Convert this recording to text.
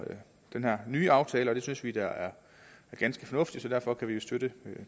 nye aftale og det synes vi da er ganske fornuftigt så derfor kan vi støtte